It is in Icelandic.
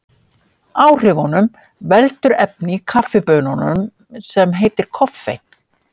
Áhrifunum veldur efni í kaffibaununum sem heitir koffein.